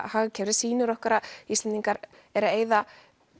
hagkerfið sýnir okkur að Íslendingar eru að eyða